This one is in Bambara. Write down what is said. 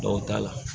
Dɔw ta la